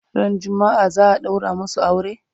Ran jumma'a za'a ɗaura masu aure?